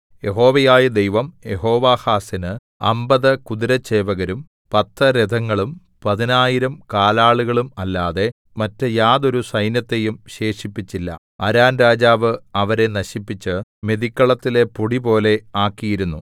യഹോവയായ ദൈവം യെഹോവാഹാസിന് അമ്പത് കുതിരച്ചേവകരും പത്ത് രഥങ്ങളും പതിനായിരം കാലാളുകളും അല്ലാതെ മറ്റ് യാതൊരു സൈന്യത്തെയും ശേഷിപ്പിച്ചില്ല അരാം രാജാവ് അവരെ നശിപ്പിച്ച് മെതിക്കളത്തിലെ പൊടിപോലെ ആക്കിയിരുന്നു